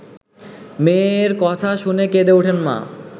মেয়ের কথা শুনে কেঁদে ওঠেন মা।